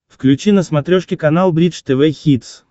включи на смотрешке канал бридж тв хитс